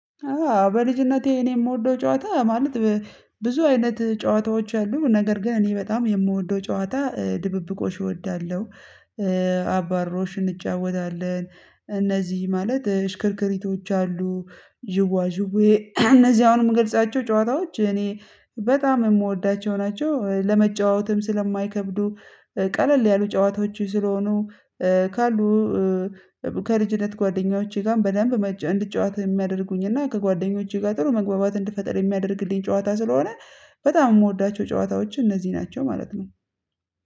በልጅነቴ እኔ የምወደው ጨዋታ ማለት ብዙ አይነት ጨዋታዎች አሉ ነገር ግን እኔ በጣም የምወደው ጨዋታ ድብብቆሽ እወዳለሁ። አባሮሽን እንጫወታለን። እነዚህ ማለት ሽክርክሪቶች አሉ። ዥዋዥዌ እነዚህ አሁን የምገልጻቸው ጨዋታዎች እኔ በጣም የምወዳቸው ናቸው። ለመጫወትም ስለማይከብዱ ቀለል ያሉ ጨዋታዎች ስለሆኑ። ካሉ ከልጅነት ጓደኞቼ ጋር በደንብ እንድጫወት የሚያደርጉኝ እና ከጓደኞቼ ጋር ጥሩ መግባባት እንድፈጥር የሚያደርግልኝ ጨዋታ ስለሆነ። በጣም የምወዳቸው ጨዋታዎች እነዚህ ናቸው ማለት ነው።